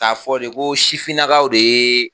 K'a fɔ de ko sifinnakaw de ye